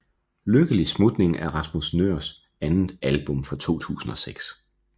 Lykkelig Smutning er Rasmus Nøhrs andet album fra 2006